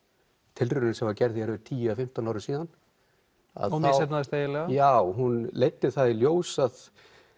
tilraunin sem var gerð hér fyrir tíu eða fimmtán árum síðan hún misheppnaðist eiginlega já hún leiddi það í ljós að